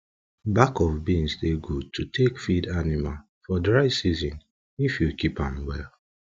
bak of beans dey gud to take feed anima for dry season if you keep am well